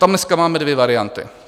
Tam dneska máme dvě varianty.